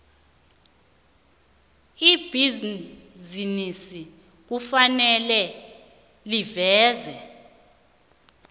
ibhizinisi kufanele livezwe